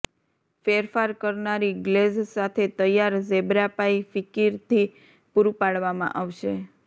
ફેરફાર કરનારી ગ્લેઝ સાથે તૈયાર ઝેબ્રા પાઇ કિફિરથી પુરું પાડવામાં આવે છે